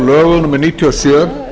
lögum númer níutíu og sjö